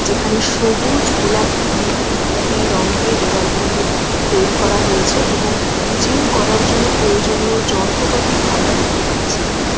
যেখানে সবুজ গোলাপি নীল ইত্যাদি রং দিয়ে দেওয়াল গুলি তৈরি করা হয়েছে এবং জিম করার জন্য প্রয়োজনীয় যন্ত্রপাতি আমরা দেখতে পাচ্ছি এখানে।